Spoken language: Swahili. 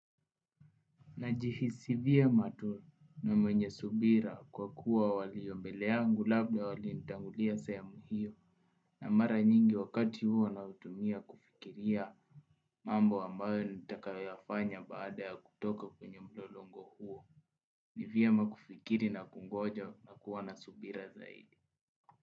Najihisi vyema tu na mwenye subira kwa kuwa waliombele yangu labda walinitangulia sehemu hiyo na mara nyingi wakati huo na utumia kufikiria mambo ambayo nitakayafanya baada ya kutoka kwenye mlolongo huo. Ni vyema kufikiri na kungoja na kuwa na subira zaidi.